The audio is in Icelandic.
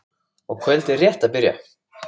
og kvöldið rétt að byrja!